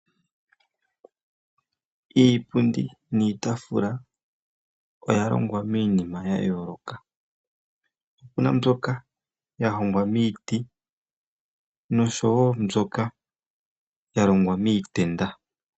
Iipundi niitafula oya longwa miinima ya yoloka opuna mbyoka yalongwa miiti noshowo mbyoka yalongwa miitenda.